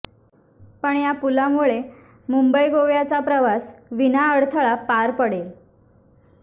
पण या पुलामुळे मुंबई गोव्याचा प्रवास विना अडथळा पार पडेल